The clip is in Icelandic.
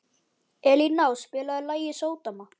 Elíná, spilaðu lagið „Sódóma“.